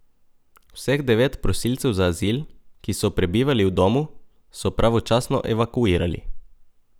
Vseh devet prosilcev za azil, ki so prebivali v domu, so pravočasno evakuirali.